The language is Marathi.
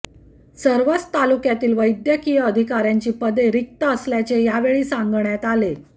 सर्वच तालुक्यातील वैद्यकीय अधिकार्यांची पदे रिक्त असल्याचे यावेळी सांगण्यात आले